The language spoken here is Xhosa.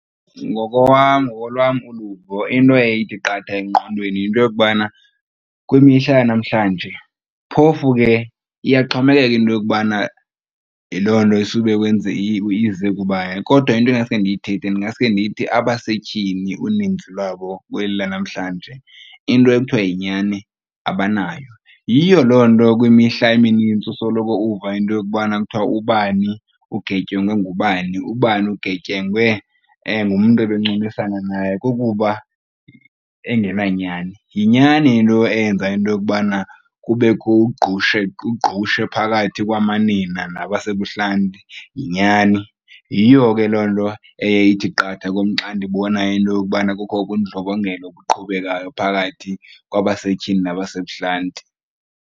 Ngokolwam uluvo into eye ithi qatha engqondweni yinto yokubana kwimihla yanamhlanje phofu ke iyaxhomekeka into yokubana yiloo nto isube ize kubani, kodwa into ingaske ndiyithethe mna ndingasuke ndithi abasetyhini uninzi lwabo kweli lanamhlanje into ekuthiwa yinyani abanayo. Yiyo loo nto kwimihla eminintsi usoloko uva into yokubana kuthiwa ubani ugetyengwe ngubani, ubani ugetyengwe ngumntu ebencumisana naye kukuba engenanyani. Yinyani into eyenza into yokubana kubekho ugqushe, ugqushe phakathi kwamanina nabasebuhlanti yinyani. Yiyo ke loo nto eye ithi qatha kum xa ndibona into yokubana kukho ubundlobongela obuqhubekayo phakathi kwabasetyhini nabasebuhlanti.